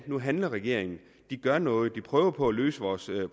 nu handler regeringen de gør noget de prøver på at løse vores